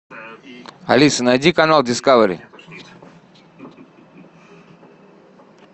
алиса найди канал дискавери